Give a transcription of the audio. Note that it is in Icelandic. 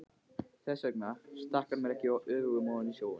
Þess vegna stakk hann mér ekki öfugum ofan í snjóinn.